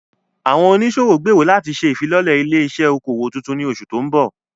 Àwọn oníṣòwò gbèrò láti ṣe ìfilọ́lẹ̀ ilé-iṣẹ́ okòwò tuntun ní oṣù tó ń bọ̀.